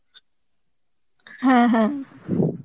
হ্যাঁ হ্যাঁ